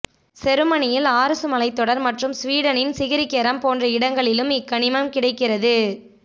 செருமனியில் ஆர்சு மலைத்தொடர் மற்றும் சுவீடனின் சிகிரிகெரம் போன்ற இடங்களிலும் இக்கனிமம் கிடைக்கிறது